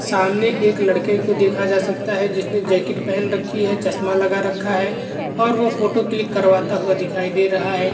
सामने एक लड़के को देखा जा सकता है जिसने जैकेट पहन रखी है चश्मा लगा रखा है और वो फोटो क्लिक करवाता हुआ दिखाई दे रहा है।